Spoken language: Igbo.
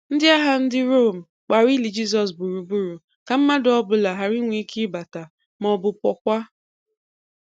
Ndị agha ndị Rōme gbara ili Jisọs gburugburu ka mmadụ ọ́bụla hara inwe ike ịbata ma ọ̀bụ̀ pụọkwa.